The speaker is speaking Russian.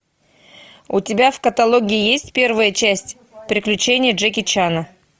у тебя в каталоге есть первая часть приключения джеки чана